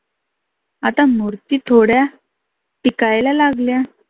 आता मुर्ती थोड्या टिकायला लागल्या.